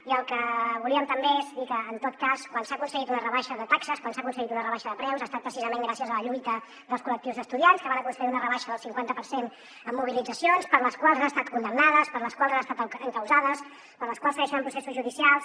i el que volíem també és dir que en tot cas quan s’ha aconseguit una rebaixa de taxes quan s’ha aconseguit una rebaixa de preus ha estat precisament gràcies a la lluita dels col·lectius d’estudiants que van aconseguir una rebaixa del cinquanta per cent amb mobilitzacions per les quals han estat condemnades per les quals han estat encausades per les quals segueixen en processos judicials